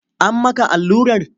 An maka allurar?